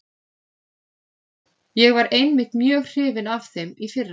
Ég var einmitt mjög hrifinn af þeim í fyrra.